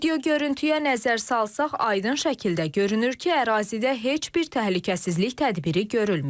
Video görüntüyə nəzər salsaq aydın şəkildə görünür ki, ərazidə heç bir təhlükəsizlik tədbiri görülməyib.